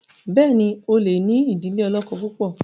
béèni o lẹ ní idile olókó púpọ.